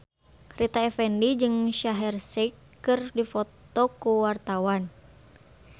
Rita Effendy jeung Shaheer Sheikh keur dipoto ku wartawan